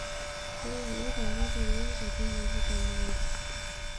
keinyialita imotonyi nkaitumulu temukunta